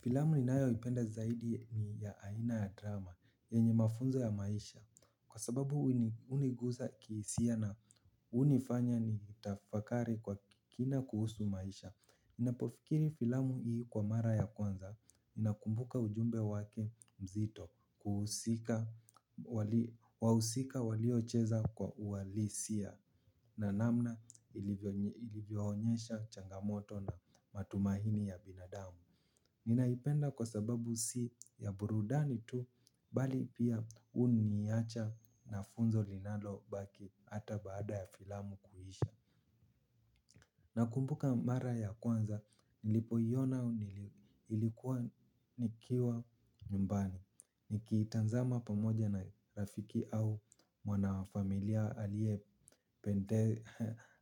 Filamu ninayoipenda zaidi ni ya aina ya drama yenye mafunzo ya maisha kwa sababu huniguza kihisia na hunifanya nitafakari kwa kina kuhusu maisha ninapofikiri filamu hii kwa mara ya kwanza ninakumbuka ujumbe wake mzito wahusika waliocheza kwa uhalisia. Na namna ilivyoonyesha changamoto na matumaini ya binadamu. Ninaipenda kwa sababu si ya burudani tu bali pia huniacha na funzo linalo baki hata baada ya filamu kuisha. Nakumbuka mara ya kwanza nilipoiona nilikuwa nikiwa nyumbani. Nikiitazama pamoja na rafiki au mwanafamilia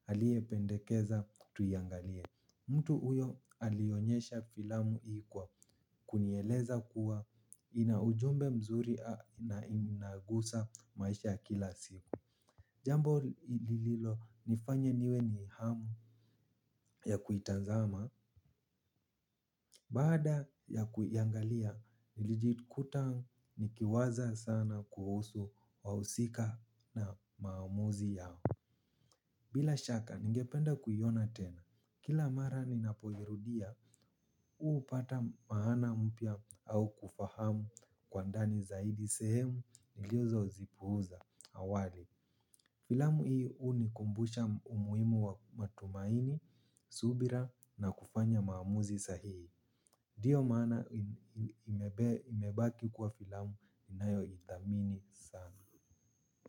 aliyependekeza tuiangalie. Mtu huyo alionyesha filamu ilikuwa kunieleza kuwa ina ujumbe mzuri na inagusa maisha kila siku. Jambo lililonifanya niwe na hamu ya kuitazama. Bada ya kuiangalia nilijikuta nikiwaza sana kuhusu wahusika na maamuzi yao. Bila shaka ningependa kuiona tena. Kila mara ni napoirudia, hupata maana mpya au kufahamu kwa ndani zaidi sehemu nilizozipuuza awali. Filamu hii hunikumbusha umuhimu wa matumaini, subira na kufanya maamuzi sahihi. Ndio maana imebaki kuwa filamu ninayoitamini sana.